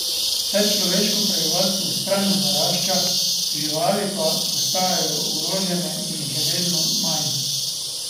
Saj človeško prebivalstvo vztrajno narašča, živali pa postajajo ogrožene in jih je vedno manj.